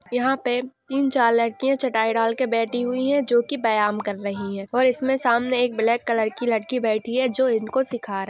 यहा पे तीन चार चार लडकिय चटाई डालके बेठी हुई हे जो की वयायाम कर रही हे और उसके सामने एक ब्लैक कलर की लड़की बैठी है वो इनको सीखा रही है।